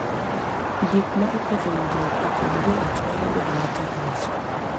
Gik ma oketho winjruok e kind joot nyalo bedo matek loso.